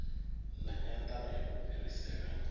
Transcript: na nyandano ya u fhirisela